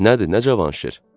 Nədir, nə Cavanşir?